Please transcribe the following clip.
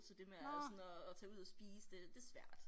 Så det med at sådan at tage ud og spise det det svært